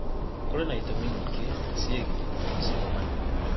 kũrĩ na ĩtũmĩ nyĩngĩ cĩĩgĩĩ macĩaro manĩnĩ